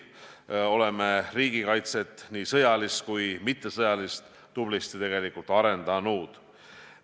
Me oleme riigikaitset, nii sõjalist kui mittesõjalist tublisti arendanud.